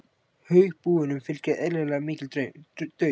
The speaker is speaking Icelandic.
Haugbúunum fylgir, eðlilega, mikill daunn.